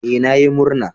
Ee, na yi murna.